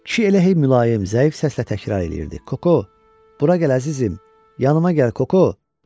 Kişi elə hey mülayim, zəif səslə təkrar eləyirdi: Koko, bura gəl əzizim, yanıma gəl, Koko.